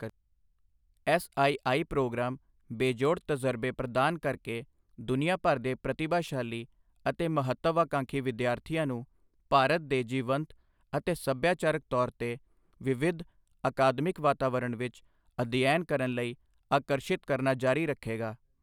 SII programme ਬੇਜੋੜ ਤਜ਼ਰਬੇ ਪ੍ਰਦਾਨ ਕਰਕੇ ਦੁਨੀਆ ਭਰ ਦੇ ਪ੍ਰਤਿਭਾਸ਼ਾਲੀ ਅਤੇ ਮਹੱਤਵਾਆਕਾਂਖੀ ਵਿਦਿਆਰਥੀਆਂ ਨੂੰ ਭਾਰਤ ਦੇ ਜੀਵੰਤ ਅਤੇ ਸੱਭਿਆਚਾਰਕ ਤੌਰ ਤੇ ਵਿਵਿਧ ਅਕਾਦਮਿਕ ਵਾਤਾਵਰਣ ਵਿੱਚ ਅਧਿਐਨ ਕਰਨ ਲਈ ਆਕਰਸ਼ਿਤ ਕਰਨਾ ਜਾਰੀ ਰੱਖੇਗਾ।